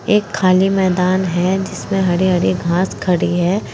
एक खाली मैदान है जिसमें हरी हरी घास खड़ी है।